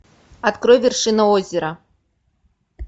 открой вершину озера